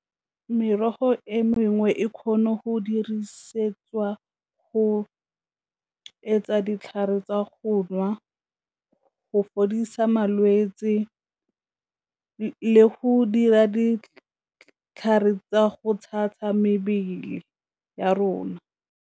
Merogo e mengwe e kgone go dirisetswa go etsa ditlhare tsa go nwa, go fodisa malwetse, le go dira ditlhare tsa go tshasa mebele ya rona.